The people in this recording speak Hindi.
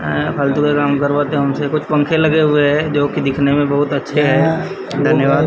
अ फालतू का काम करवाते हमसे कुछ पंखे लगे हुए हैं जो दिकने में बहुत अच्छे हैं धन्यवाद।